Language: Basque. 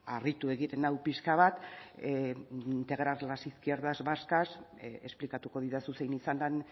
harritu egiten nau pixka bat integrar las izquierdas vascas esplikatuko didazu zein izan den